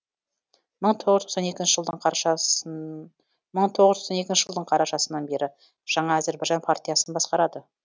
мың тоғыз жүз тоқсан екінші жылдың қарашасынан бері жаңа әзірбайжан партиясын басқарады